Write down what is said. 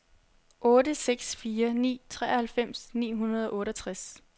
otte seks fire ni treoghalvfems ni hundrede og otteogtres